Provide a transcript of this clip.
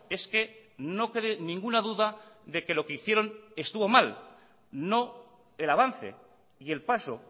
es que no cree ninguna duda de que lo que hicieron estuvo mal no el avance y el paso